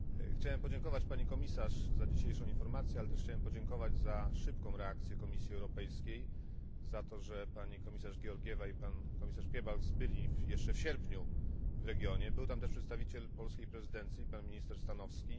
Chciałbym podziękować Pani Komisarz za dzisiejszą informację, ale też za szybką reakcję Komisji Europejskiej, za to, że komisarze Georgieva i Piebalgs byli jeszcze w sierpniu w regionie. Był tam też przedstawiciel polskiej prezydencji minister Stanowski.